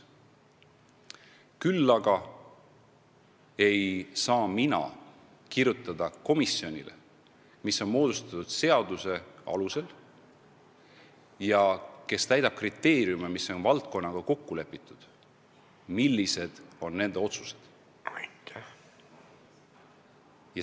Küll aga ei saa mina komisjonile, mis on moodustatud seaduse alusel ja jälgib kriteeriume, mis on valdkonnaga kokku lepitud, ette kirjutada, millised on nende otsused.